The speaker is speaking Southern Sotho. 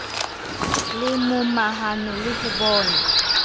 le momahano le ho bona